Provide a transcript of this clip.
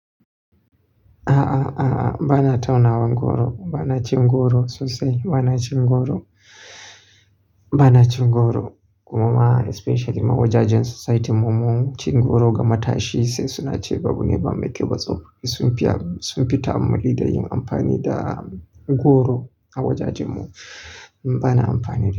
A'a, a'a, bana taunawan goro, bana cin goro sosai. Bana cin goro, bana cin goro. Kumama especially a wajajen society mu mun cin goro ga matashi sai suna ce babu ne ba mai kyau ba tsawon. Sun fi, sun fita a malli da yin amfani da goro a wajajen mu. Bana amfani da.